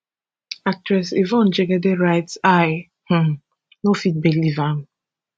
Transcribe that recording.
actress yvonne jegede write i um no fit believe am